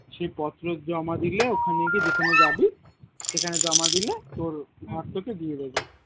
সে পত্র জমা দিলে ওখানে গিয়ে যেখানে যাবি সেখানে জমা দিলে তোর ঘর তোকে দিয়ে দিবে